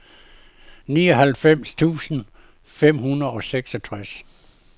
nioghalvfems tusind fem hundrede og seksogtres